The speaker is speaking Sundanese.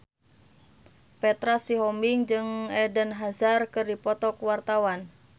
Petra Sihombing jeung Eden Hazard keur dipoto ku wartawan